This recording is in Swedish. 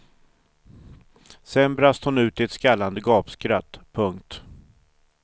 Sen brast hon ut i ett skallande gapskratt. punkt